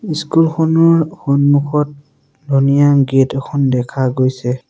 School খনৰ সন্মুখত ধুনীয়া গেট এখন দেখা গৈছে।